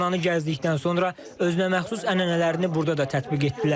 Həbsxananı gəzdikdən sonra özünəməxsus ənənələrini burada da tətbiq etdilər.